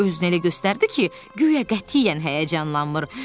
O özünü elə göstərdi ki, guya qətiyyən həyəcanlanmır.